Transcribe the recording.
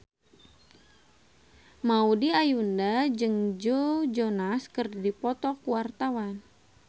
Maudy Ayunda jeung Joe Jonas keur dipoto ku wartawan